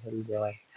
sida buurnida